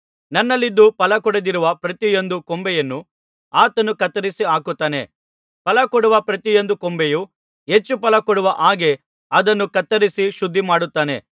ನನ್ನಲ್ಲಿದ್ದು ಫಲಕೊಡದಿರುವ ಪ್ರತಿಯೊಂದು ಕೊಂಬೆಯನ್ನು ಆತನು ಕತ್ತರಿಸಿಹಾಕುತ್ತಾನೆ ಫಲ ಕೊಡುವ ಪ್ರತಿಯೊಂದು ಕೊಂಬೆಯು ಹೆಚ್ಚು ಫಲ ಕೊಡುವ ಹಾಗೆ ಅದನ್ನು ಕತ್ತರಿಸಿ ಶುದ್ಧಮಾಡುತ್ತಾನೆ